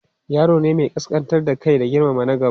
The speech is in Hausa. yaro ne Mai kaskantar da Kai da girmama na gaba